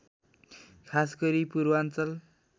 खासगरी पूर्वाञ्चल